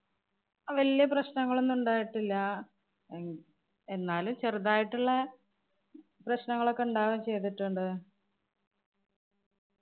വല്യ പ്രശ്നങ്ങളൊന്നും ഉണ്ടായിട്ടില്ല. എന്നാലും ചെറുതായിട്ടുള്ള പ്രശ്നങ്ങളൊക്കെ ഇണ്ടാവേം ചെയ്തിട്ടുണ്ട്.